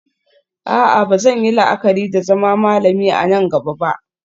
A'a ba zan yi la'akari da zama malami a nan gaba ba